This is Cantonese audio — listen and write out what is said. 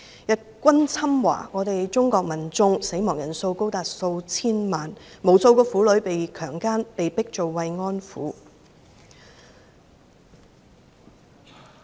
日軍侵華，中國民眾死亡人數高達數千萬，無數婦女被強姦、被迫做慰安婦。